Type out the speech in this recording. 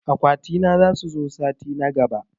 Akwati na zasu zo sati na gaɓa.